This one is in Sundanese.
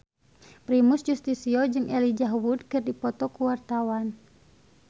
Primus Yustisio jeung Elijah Wood keur dipoto ku wartawan